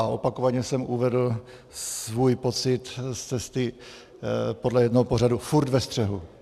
A opakovaně jsem uvedl svůj pocit z cesty podle jednoho pořadu - furt ve střehu.